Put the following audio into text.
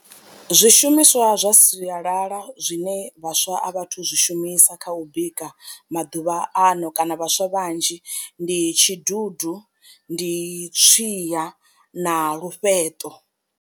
Zwishumiswa zwa sialala zwine vhaswa a vha a thu zwi shumisa kha u bika maḓuvha ano kana vhaswa vhanzhi ndi tshidudu ndi tswiya na lufheṱo.